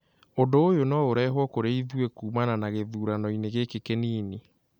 Ũndũ ũyũ no ũrehũo kũrĩ ithuĩ kuumana na gĩthuranoinĩ gĩkĩ kĩnini